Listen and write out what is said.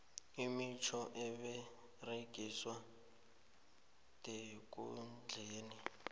imitjhoga eberegiswa ndekundleni